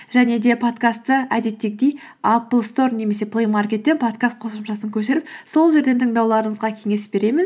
және де подкастты әдеттегідей аплстор немесе плеймаркеттен подкаст қосымшасын көшіріп сол жерден тыңдауларыңызға кеңес беремін